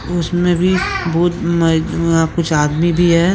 उसमें भी बहुत कुछ आदमी भी है।